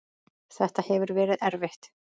Þetta hefur verið erfitt.